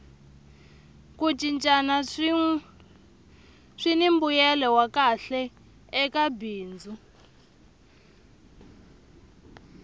ku cincana swini mbuyelo wa kahle eka bindzu